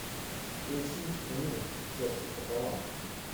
включи эмин сердце пополам